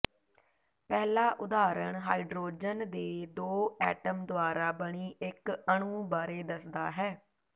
ਪਹਿਲਾ ਉਦਾਹਰਣ ਹਾਈਡ੍ਰੋਜਨ ਦੇ ਦੋ ਐਟਮ ਦੁਆਰਾ ਬਣੀ ਇਕ ਅਣੂ ਬਾਰੇ ਦੱਸਦਾ ਹੈ